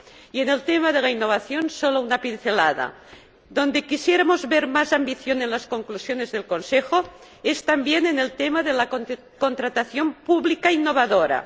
Y en el tema de la innovación, solo una pincelada donde quisiéramos ver más ambición en las conclusiones del Consejo es también en el tema de la contratación pública innovadora.